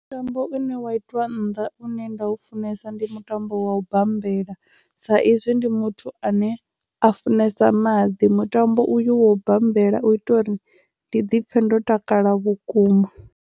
Mutambo une wa itwa nnḓa une nda u funesa ndi mutambo wa u bambela sa izwi ndi muthu ane a funesa maḓi mutambo uyu wa u bambela u itela uri ndi dipfhe ndo takala vhukuma.